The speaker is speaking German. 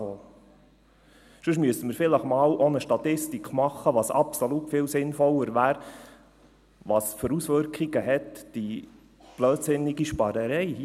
Sonst müssten wir vielleicht auch einmal eine Statistik machen – was absolut viel sinnvoller wäre – über die Auswirkungen der blödsinnigen Sparerei hier.